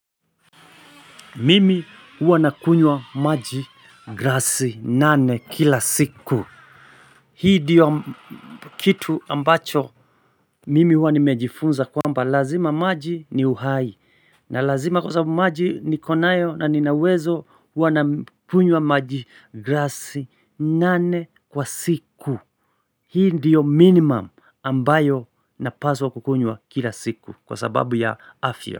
Mimi huanakunywa maji grassi nane kila siku Hii diyo kitu ambacho mimi uanimejifunza kwamba lazima maji ni uhai na lazima kwa sabu maji ni konayo na ninawezo uanakunywa maji grassi nane kwa siku Hii ndiyo minimum ambayo napaswa kukunywa kila siku kwa sababu ya afya.